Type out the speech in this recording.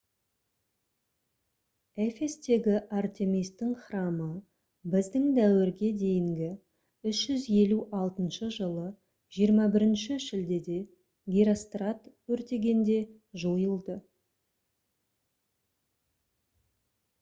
эфестегі артемистің храмы б.д.д. 356 жылы 21 шілдеде герострат өртегенде жойылды